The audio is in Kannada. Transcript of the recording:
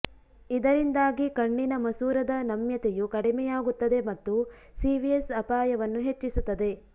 ಇದರಿಂದಾಗಿ ಕಣ್ಣಿನ ಮಸೂರದ ನಮ್ಯತೆಯು ಕಡಿಮೆಯಾಗುತ್ತದೆ ಮತ್ತು ಸಿವಿಎಸ್ ಅಪಾಯವನ್ನು ಹೆಚ್ಚಿಸುತ್ತದೆ